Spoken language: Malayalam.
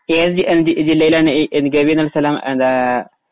ഏത് ജില്ലയിലാണ് ഗവി എന്ന സ്ഥലം